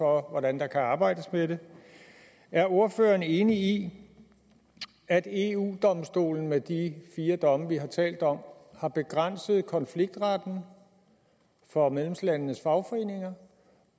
hvordan der kan arbejdes med det er ordføreren enig i at eu domstolen med de fire domme vi har talt om har begrænset konfliktretten for medlemslandenes fagforeninger